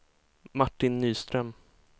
Martin Nyström